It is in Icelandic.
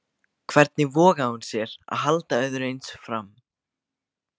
Hvernig vogaði hún sér að halda öðru eins fram?